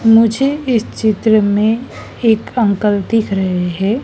मुझे इस चित्र में एक अंकल दिख रहे है।